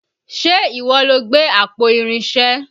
Ṣe ìwọ lo gbé àpò Irinṣé?